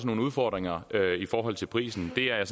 nogle udfordringer i forhold til prisen det er jeg